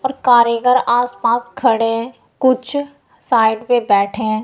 और कारीगर आसपास खड़े हैं कुछ साइड में बैठे हैं।